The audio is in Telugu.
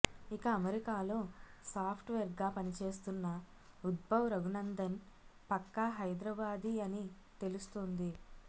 ఇక అమెరికాలో సాప్ట్ వేర్గా పనిచేస్తున్న ఉద్భవ్ రఘునందన్ పక్కా హైదరాబాదీ అని తెలుస్తోంది